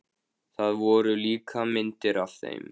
Það voru líka myndir af þeim.